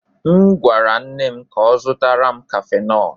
M gwara nne m ka ọ zụtara m cafenol.